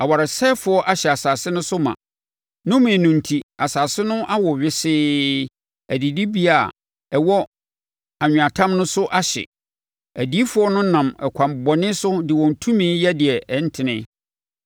Awaresɛefoɔ ahyɛ asase no so ma; nnome no enti asase no awo wesee adidibea a ɛwɔ anweatam no so ahye. Adiyifoɔ no nam ɛkwan bɔne so de wɔn tumi yɛ deɛ ɛntene.